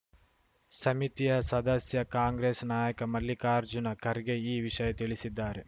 ಸಮಿತಿಯ ಸದಸ್ಯ ಕಾಂಗ್ರೆಸ್‌ ನಾಯಕ ಮಲ್ಲಿಕಾರ್ಜುನ ಖರ್ಗೆ ಈ ವಿಷಯ ತಿಳಿಸಿದ್ದಾರೆ